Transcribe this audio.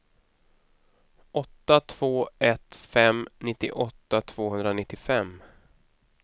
åtta två ett fem nittioåtta tvåhundranittiofem